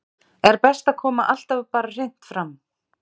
Er best að koma alltaf bara hreint fram?